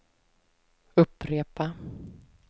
upprepa